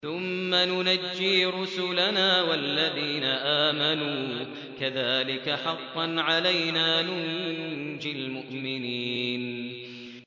ثُمَّ نُنَجِّي رُسُلَنَا وَالَّذِينَ آمَنُوا ۚ كَذَٰلِكَ حَقًّا عَلَيْنَا نُنجِ الْمُؤْمِنِينَ